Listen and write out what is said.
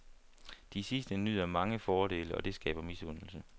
De sidste nyder mange fordele, og det skaber misundelse.